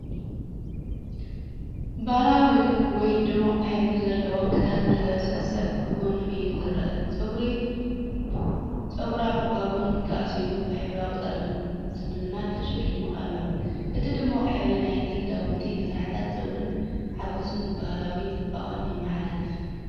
ባህላዊ ወይ ድሙቕ ሕብሪ ዘለዎ ክዳን ዝለበሰ ሰብ ብጎኒ እዩ ዝረአ። ጸጉራ ብባን ተኣሲሩ ብሕብራዊ ስልማት ተሰሊሙ ኣሎ። እቲ ድሙቕ ሕብሪ ናይቲ ክዳውንትን መሳርሒታት ጸጉርን ሓጎስን ባህላዊ ጽባቐን የመሓላልፍ።